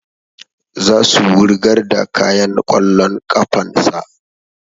Za su wurgar da kayan ƙwallon ƙafan sa